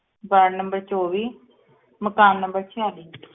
ward number ਚੋਵੀ ਮਕਾਨ number ਛਿਆਲੀ